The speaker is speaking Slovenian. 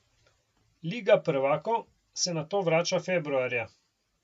Liga prvakov se nato vrača februarja.